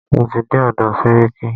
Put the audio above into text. Mo ti dé ọ̀dọ̀ sẹ́ríkí.